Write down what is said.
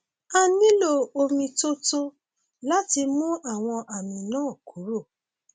a nílò omi tó tó láti mú àwọn àmì náà kúrò